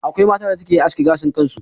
Akwai mata da suke aske gashin kansu.